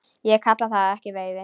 Ég kalla það ekki veiði.